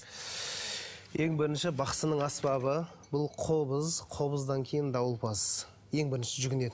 ең бірінші бақсының аспабы бұл қобыз қобыздан кейін дауылпаз ең бірінші жүгінетіні